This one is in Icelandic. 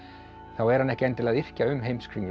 þá er hann ekki endilega að yrkja um Heimskringlu